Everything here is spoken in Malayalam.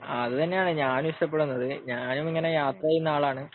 ആഹ് അത് തന്നെയാണ് ഞാനും ഇഷ്ടപ്പെടുന്നത് ഞാൻ ഇങ്ങനെ യാത്ര ചെയ്യുന്ന ആളാണ്